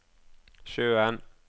sjøen